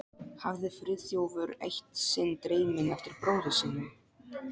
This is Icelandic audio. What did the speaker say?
hafði Friðþjófur eitt sinn dreyminn eftir bróður sínum.